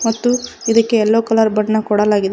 ಮತ್ತು ಇದಕ್ಕೆ yellow colour ಬಣ್ಣ ಕೊಡಲಾಗಿದೆ.